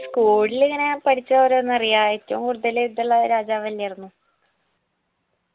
school ലിങ്ങനെ പഠിച്ച ഓരോന്നറിയാം ഏറ്റും കൂടുതൽ ഇതുള്ള രാജാവെന്നായിരുന്നു